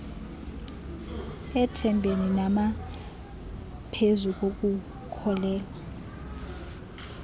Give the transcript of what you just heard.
ethembeni nangaphezu kokukholelwa